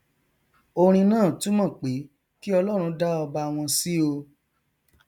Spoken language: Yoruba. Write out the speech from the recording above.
orin náà túmọ pé kí ọlọrun dá ọba wọn sí o